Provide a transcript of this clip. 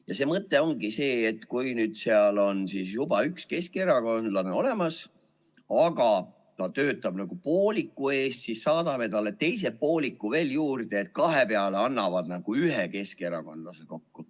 Ja see mõte ongi see, et kui seal on juba üks keskerakondlane olemas, aga ta töötab nagu pooliku eest, siis saadame talle teise pooliku veel juurde, eks nad siis kahe peale annavad nagu ühe keskerakondlase kokku.